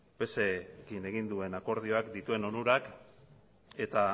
pserekin egin duen akordioak dituen onurak eta